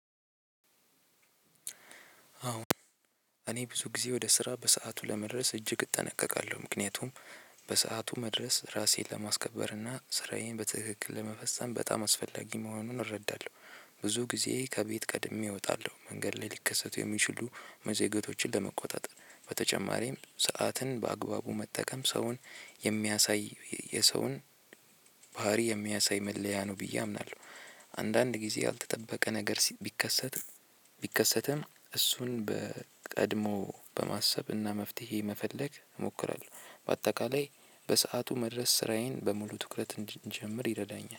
አዎ እኔ ብዙ ጊዜ ወደ ስራ በሰአቱ ለመድረስ እጅግ እጠነቀቃለሁ ምክንያቱም በሰአቱ መድረስ ራሴን ለማስከበር እና ስራዬን በትክክል ለመፈጸም በጣም አስፈላጊ መሆኑን እረዳለሁ። ብዙ ጊዜ ከቤት ቀድሜ እወጣለሁ መንገድ ላይ ሊከሰቱ የሚችሉ መዘገየቶችን ለመቆጣጠር በተጨማሪም ሰዓትን በአግባቡ መጠቀም ሰውን የሚያሳይ የሰውን ባህሪ የሚያሳይ መለያ ነው ብዬ አምናለሁ። አንዳንድ ጊዜ ያልተጠበቀ ነገር ቢከሰትም ቢከሰትም እሱን በቀድሞ በማሰብና መፍትሄ መፈለግ እሞክራለሁ። በአጠቃላይ በሰአቱ መድረስ ስራዬን በሙሉ ትኩረት እንድጀምር ይረዳኛል።